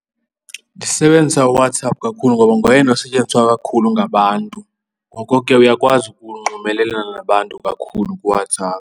Ndisebenzisa uWhatsApp kakhulu ngoba ngoyena osetyenziswa kakhulu ngabantu. Ngoko ke uyakwazi ukunxumelelana nabantu kakhulu kuWhatsApp.